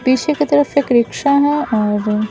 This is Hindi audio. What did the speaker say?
पीछे की तरफ एक रिक्शा है और--